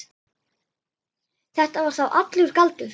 Þetta var þá allur galdur.